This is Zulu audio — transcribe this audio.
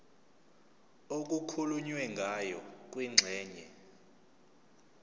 okukhulunywe ngayo kwingxenye